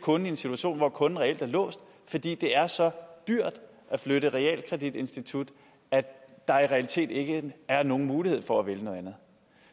kunden i en situation hvor kunden reelt er låst fordi det er så dyrt at flytte realkreditinstitut at der i realiteten ikke er nogen mulighed for at vælge noget andet